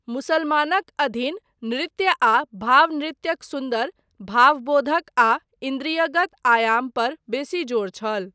मुसलमानक अधीन नृत्य आ भाव नृत्यक सुन्दर, भावबोधक आ इन्द्रियगत आयाम, पर बेसी जोर छल।